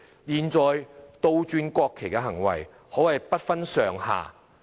現在倒轉國旗的行為，可謂不分上下。